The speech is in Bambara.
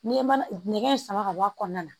N'i ye mana nɛgɛ in sama ka bɔ a kɔnɔna na